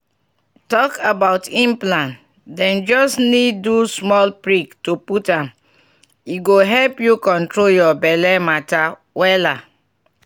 talk about implant dem just need do small prick to put m— e go help you control your belle matter wela um.